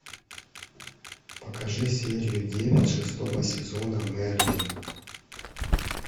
покажи серию девять шестого сезона мерлин